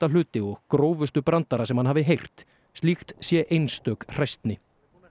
hluti og grófustu brandara sem hann hafi heyrt slíkt sé einstök hræsni